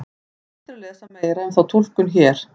Hægt er að lesa meira um þá túlkun hér.